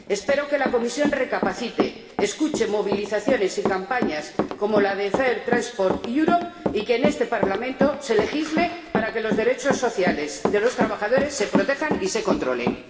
Espero que la Comisión recapacite, escuche movilizaciones y campañas, como la de Fair Transport Europe y que en este Parlamento se legisle para que los derechos sociales de los trabajadores se protejan y se controlen.